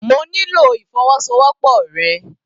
Mo nílò ìfọwọ́sowọ́pọ̀ rẹ.